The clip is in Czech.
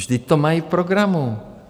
Vždyť to mají v programu!